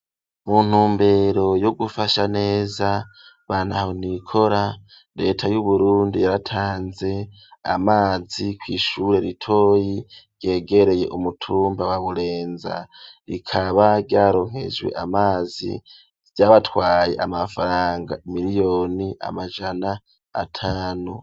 Mu ntumbero yo gufasha neza ba ntahonikora Leta y'Uburundi yaratanze amazi kw'ishure ritoyi ryegereye umutumba wa Burenza, rikaba ryaronkejwe amazi, vyabatwaye amafaranga miliyoni amajana atanu.